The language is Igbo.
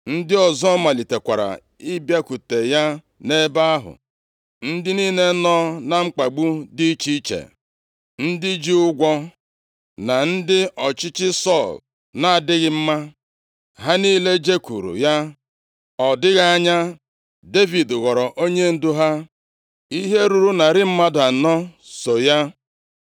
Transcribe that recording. Ndị ọzọ malitekwara ịbịakwute ya nʼebe ahụ, ndị niile nọ na mkpagbu dị iche iche, ndị ji ụgwọ, na ndị ọchịchị Sọl na-adịghị mma. Ha niile jekwuru ya. Ọ dịghị anya Devid ghọọrọ onyendu ha. Ihe ruru narị mmadụ anọ so ya.